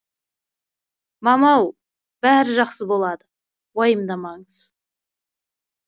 мамау бәрі жақсы болады уайымдамаңыз